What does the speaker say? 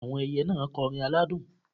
Àwọn ẹyẹ náà kọrin aládùn